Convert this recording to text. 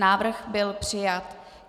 Návrh byl přijat.